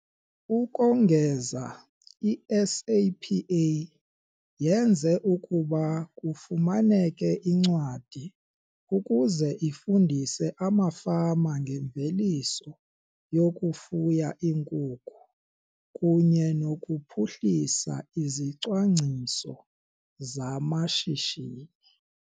Ukongeza, i-SAPA yenze ukuba kufumaneke incwadi ukuze ifundise amafama ngemveliso yokufuya iinkukhu kunye nokuphuhlisa izicwangciso zamashishini